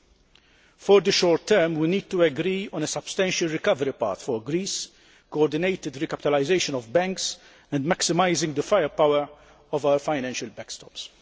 In the short term we need to agree on a substantial recovery path for Greece, coordinated recapitalisation of banks and maximising the firepower of our financial backstops.